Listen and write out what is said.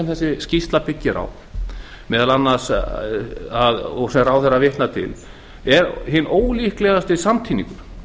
sem þessi skýrsla byggir á og sem ráðherra vitnar til er hinn ólíkindalegasti samtíningur